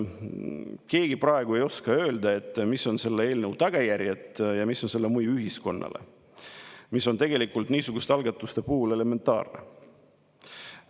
Keegi ei oska praegu öelda, mis on selle eelnõu tagajärjed ja mis on selle mõju ühiskonnale, kuigi see peaks niisuguste algatuste puhul olema elementaarne.